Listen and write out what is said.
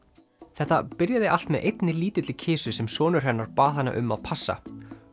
þetta byrjaði allt með einni lítilli kisu sem sonur hennar bað hana um að passa